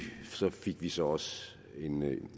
fik vi så også